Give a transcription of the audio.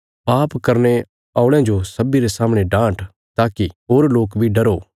पाप करने औल़यां जो सब्बीं रे सामणे डान्ट ताकि होर लोक बी डरो